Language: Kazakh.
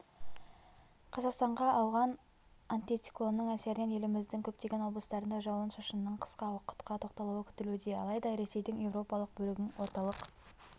қазақстанға ауған антициклонның әсерінен еліміздің көптеген облыстарында жауын-шашынныңқысқа уақытқа тоқталуы күтілуде алайда ресейдің еуропалық бөлігің орталық